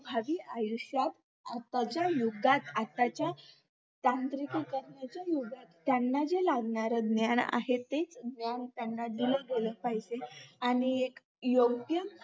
भावी आयुष्यात आजकालच्या युगात आताच्या त्रांतिक युगाच्यात त्याना जे लागणार ज्ञान आहे ते ज्ञान त्याना दिल गेलं पाहिजे आणि एक योग्य